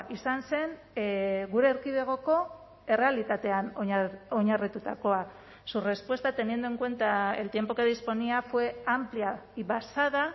izan zen gure erkidegoko errealitatean oinarritutakoa su respuesta teniendo en cuenta el tiempo que disponía fue amplia y basada